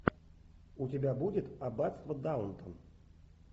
у тебя будет аббатство даунтон